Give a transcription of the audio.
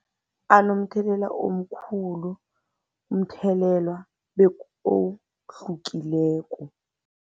Anomthelela omkhulu, umthelela ohlukileko.